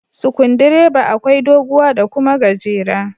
Sikundireba akwai doguwa da kuma gajera.